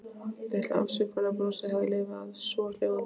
Litla afsökunarbrosið hafði lifað af, svohljóðandi